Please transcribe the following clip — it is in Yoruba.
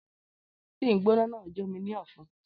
Tíì gbóná náà jó mi ní ọ̀fun.